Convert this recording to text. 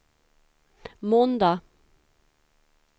måndag